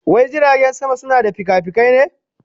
Wai jiragen sama suna da fikafikai ne?